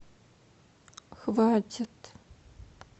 хватит